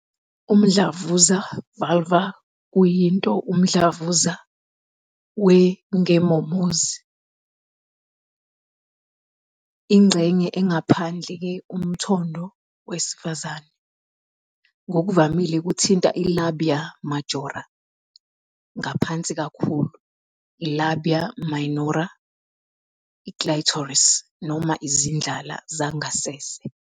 Umdlavuza Vulvar kuyinto umdlavuza we ngemomozi, ingxenye engaphandle ye-umthondo zesifazane. Ngokuvamile kuthinta i- labia majora. Ngaphansi kakhulu, i- labia minora, i- clitoris, noma izindlala zangasese.